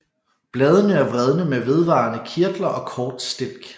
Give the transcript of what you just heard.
Bladene er vredne med vedvarende kirtler og kort stilk